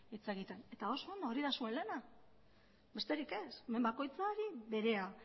hitz egiten eta oso ondo hori da zuen lana besterik ez hemen bakoitzari berea